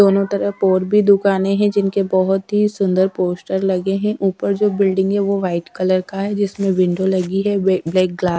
दोनों तरफ और भी दुकानें हैं जिनके बहुत ही सुंदर पोस्टर लगे हैं ऊपर जो बिल्डिंग है वो व्हाइट कलर का है जिसमें विंडो लगी है ब्लैक क।